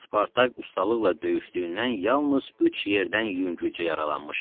Spartak ustalıqla döyüşdüyündən yalnız üç yerdən yüngülcə yaralanmışdı.